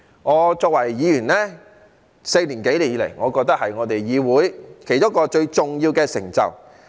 我作為議員4年多以來，我覺得這是我們議會其中一項最重要的成就。